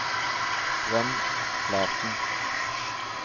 Svend Flaten